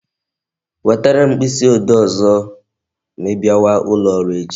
Wetere m mkpịsị ode ọzọ ma I bịawa ụlọ ọrụ echi